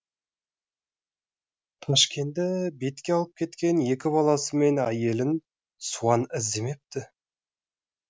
ташкенді бетке алып кеткен екі баласы мен әйелін суан іздемепті